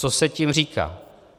Co se tím říká?